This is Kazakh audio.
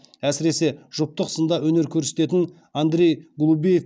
әсіресе жұптық сында өнер көрсететін андрей голубеев